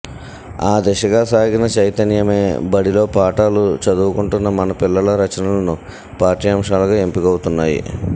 ఆ దిశగా సాగిన చైతన్యమే బడిలో పాఠాలు చదువుకుంటున్న మన పిల్లల రచనలు పాఠ్యాంశాలుగా ఎంపికవుతున్నాయి